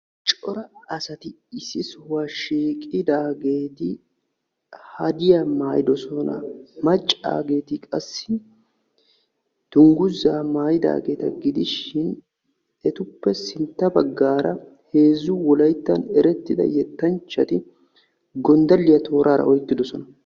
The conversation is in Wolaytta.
Cora asati issi sohuwaa shiqidaageti haadiyaa maayidoosona. maccaageti qassi dungguzaa maayidaageta gidishin etuppe sintta baggaara heezzu wolayttan erettida yettanchchati gonddaliyaa toorara oyqqi uttidosona.